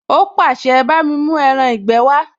Ó pàṣẹ, bámi mú ẹran ìgbé wá!